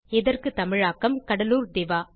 இதற்கு தமிழாக்கம் கடலூர் திவா